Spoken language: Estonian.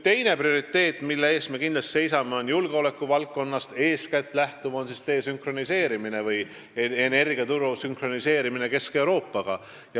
Teine prioriteet, mille eest me kindlasti seisame, lähtub eeskätt julgeolekuvaldkonnast, see on desünkroniseerimine või energiaturu sünkroniseerimine Kesk-Euroopaga.